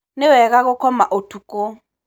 nĩwega gũkoma ũtuko.